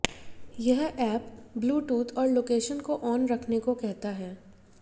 यह app bluetooth और location को ऑन रखने को कहता है